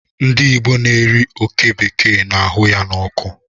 Ndị Igbo na-eri oké bekee na-ahụ ya n'ọkụ.